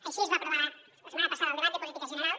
així es va aprovar la setmana passada al debat de política general